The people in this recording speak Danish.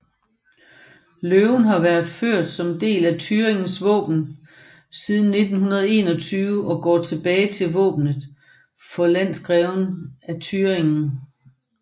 Løven har været ført som del af Thüringens våben siden 1921 og går tilbage til våbenet for landgreverne af Thüringen